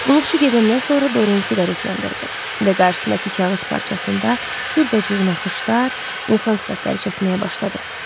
Qulluqçu gedəndən sonra Dorien siqaret yandırdı və qarşısındakı kağız parçasında cürbəcür naxışlar, insan sifətləri çəkməyə başladı.